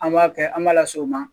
An b'a kɛ an b'a lase u ma